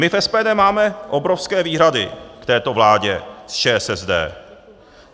My v SPD máme obrovské výhrady k této vládě s ČSSD.